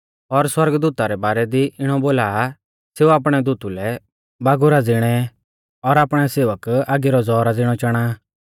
और सौरगदूता रै बारै दी इणौ बोला आ सेऊ आपणै दूतु लै बागुरा ज़िणै और आपणै सेवक आगी रौ ज़ौहरा ज़िणौ चाणा आ